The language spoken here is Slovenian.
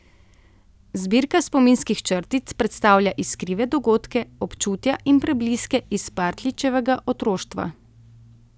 Zbirka spominskih črtic predstavlja iskrive dogodke, občutja in prebliske iz Partljičevega otroštva.